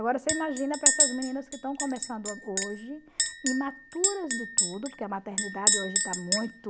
Agora você imagina para essas meninas que estão começando hoje, imaturas de tudo, porque a maternidade hoje está muito...